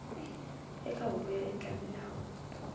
eka huvo yo endla milawu